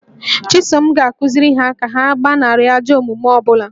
Chisom ga-akụziri ha ka ha gbanarị ajọ omume ọ bụla